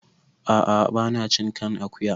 Ah ah ba na cin kan akuya